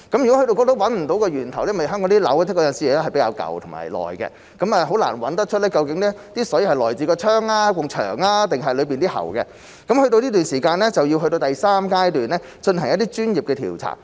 如果找不到源頭，香港的樓宇有時是比較老舊，很難找出水是來自窗、牆還是裏面的喉管，去到這個時間，就要去到第三階段，進行一些專業調查。